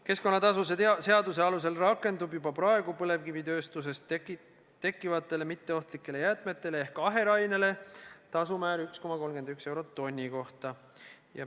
Keskkonnatasude seaduse alusel rakendub juba praegu põlevkivitööstuses tekkivatele mitteohtlikele jäätmetele ehk aherainele tasumäär 1,31 eurot tonni kohta.